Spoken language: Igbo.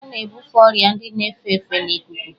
A na-ebufe ọrịa ndị na-efe efe n'ikuku.